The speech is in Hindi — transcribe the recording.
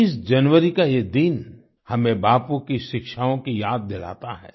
30 जनवरी का ये दिन हमें बापू की शिक्षाओं की याद दिलाता है